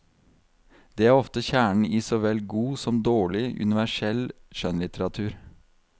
Det er ofte kjernen i så vel god som dårlig, universell skjønnlitteratur.